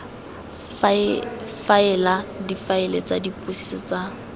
faela difaele tsa dipotsiso tsa